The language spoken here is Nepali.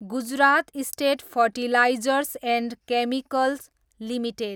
Gujarat state fertilizers and chemicals limited